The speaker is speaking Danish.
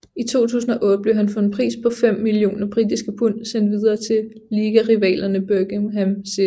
I 2008 blev han for en pris på fem millioner britiske pund sendt videre til ligarivalerne Birmingham City